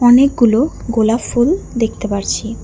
অনেকগুলো গোলাপ ফুল দেখতে পারছি।